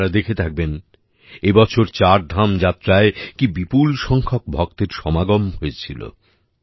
আপনারা দেখে থাকবেন এবছর চারধাম যাত্রায় কী বিপুল সংখ্যক ভক্তের সমাগম হয়েছিল